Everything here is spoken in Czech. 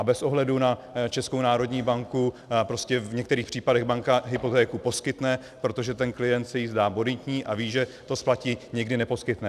A bez ohledu na Českou národní banku prostě v některých případech banka hypotéku poskytne, protože ten klient se jí zdá bonitní a ví, že to splatí, někdy neposkytne.